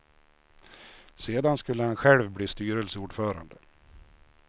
Sedan skulle han själv bli styrelseordförande.